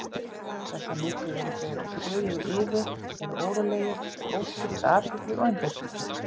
Þess á milli eru þeir á stöðugu iði, eru órólegir með óskipta athygli og einbeitingu.